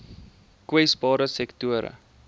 kwesbare sektore